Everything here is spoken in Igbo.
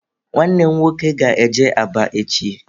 Nwanne m nwoke ga-eje Aba echi.